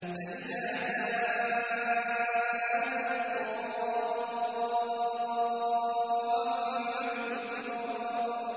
فَإِذَا جَاءَتِ الطَّامَّةُ الْكُبْرَىٰ